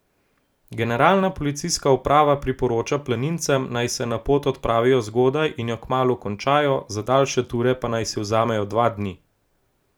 Generalna policijska uprava priporoča planincem, naj se na pot odpravijo zgodaj in jo kmalu končajo, za daljše ture pa naj si vzamejo dva dni.